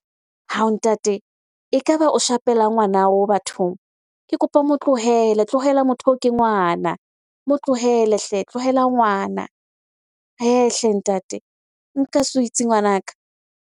Hawu Ntate! Ekaba o shapelang ngwana o bathong. Ke kopa o mo tlohele, tlohela motho eo ke ngwana. Mo tlohelle hle! Tlohela ngwana. He.e hle ntate! Nka sweets ngwanaka.